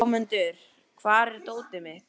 Hámundur, hvar er dótið mitt?